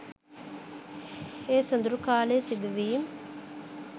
ඒ සොදුරු කාලයේ සිදුවීම්